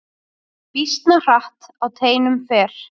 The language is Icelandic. Býsna hratt á teinum fer.